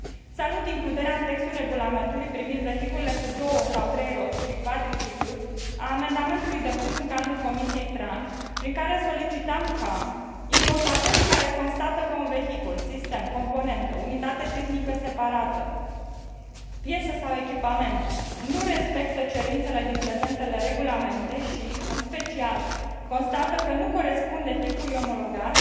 Salut includerea în textul Regulamentului privind vehiculele cu două sau trei roți și cvadriciclurile a amendamentului depus în cadrul Comisiei TRAN, prin care solicitam ca importatorii care constată că un vehicul, un sistem, o componentă, o unitate tehnică separată, o piesă sau un echipament nu respectă cerințele din prezentele regulamente și, în special, constată că nu corespunde tipului omologat,